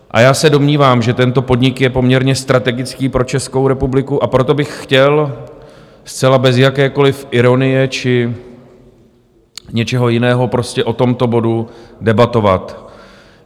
A já se domnívám, že tento podnik je poměrně strategický pro Českou republiku, a proto bych chtěl zcela bez jakékoli ironie či něčeho jiného prostě o tomto bodu debatovat.